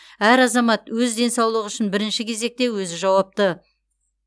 әр азамат өз денсаулығы үшін бірінші кезекте өзі жауапты